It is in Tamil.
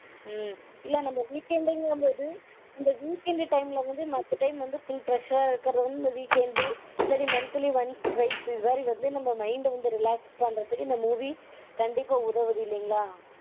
உம் இல்ல நம்ம weekend -ன்றது அந்த weekend time -ல வந்து மத்த time வந்து full pressure -ஆ இருக்கறது வந்து இந்த weekend இல்ல monthly once twice இதுமாதிரி வந்து நம்ம mind -அ வந்து relax பண்றதுக்கு இந்த movie கண்டிப்பா வந்து உதவுது இல்லைங்களா?